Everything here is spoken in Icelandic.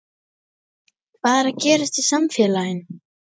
Hvað er að gerast í samfélaginu?